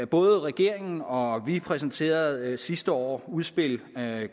både regeringen og vi præsenterede sidste år udspil